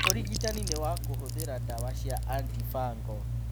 Ũrigitani nĩ wa kũhũthĩra ndawa cia antifungal.